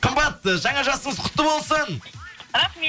қымбат ы жаңа жасыңыз құтты болсын